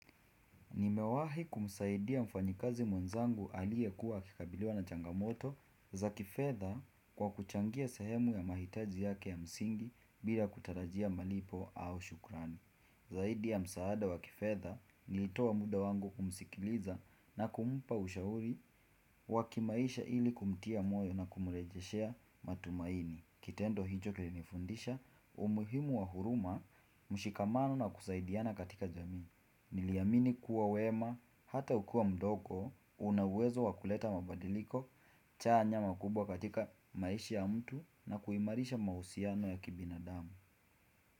Nimewahi kumsaidia mfanyikazi mwenzangu aliye kuwa akikabiliwa na changamoto za kifedha kwa kuchangia sehemu ya mahitaji yake ya msingi bila kutarajia malipo au shukrani. Zaidi ya msaada wa kifedha nilitoa muda wangu kumsikiliza na kumpa ushauri wakimaisha ili kumtia moyo na kumurejeshea matumaini. Kitendo hicho kilinifundisha umuhimu wa huruma mshikamano na kusaidiana katika jamii. Niliamini kuwa wema hata ukiwa mdogo unauwezo wakuleta mabadiliko chanya makubwa katika maishi ya mtu na kuimarisha mahusiano ya kibinadamu.